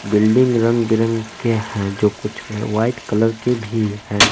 Building रंग बिरंग के हैं जो कुछ में व्हाइट कलर के भी हैं।